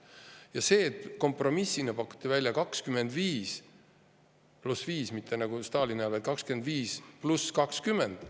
Ja kompromissina ei pakutud välja mitte 25 + 5 nagu Stalini ajal, vaid pakuti 25 + 20.